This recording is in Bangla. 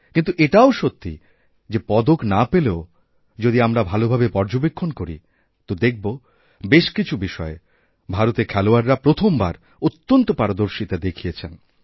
কিন্তু এটাও সত্যি যেপদক না পেলেও যদি আমরা ভালভাবে পর্যবেক্ষণ করি তো দেখব বেশ কিছু বিষয়ে ভারতেরখেলোয়াড়রা প্রথমবার অত্যন্ত পারদর্শিতা দেখিয়েছেন